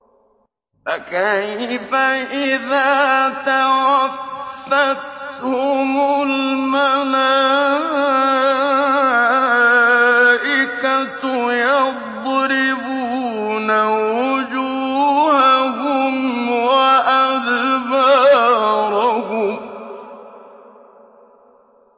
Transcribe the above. فَكَيْفَ إِذَا تَوَفَّتْهُمُ الْمَلَائِكَةُ يَضْرِبُونَ وُجُوهَهُمْ وَأَدْبَارَهُمْ